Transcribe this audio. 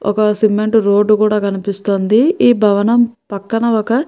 ఒక cement road కూడా కనిపిస్తుంది ఈ భవనము పక్కన ఒక.